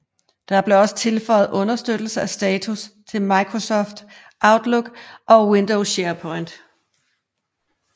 Der blev også tilføjet understøttelse af status til Microsoft Outlook og Windows SharePoint